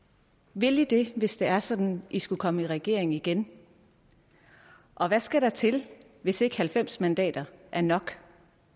vil i det hvis det er sådan i skulle komme i regering igen og hvad skal der til hvis ikke halvfems mandater er nok